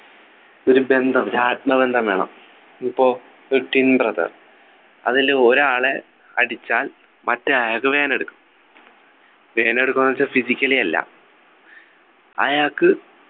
ഒരു ബന്ധം ഒരു ആത്മബന്ധം വേണം ഇപ്പൊ ഒരു twin brother അതിൽ ഒരാളെ അടിച്ചാൽ മറ്റേ ആൾക്ക് വേദനയെടുക്കും വേദനയെടുക്കും ന്നു വെച്ചാൽ physically അല്ല അയാൾക്ക്